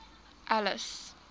alice